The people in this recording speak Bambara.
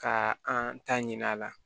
Ka an ta ɲin'a la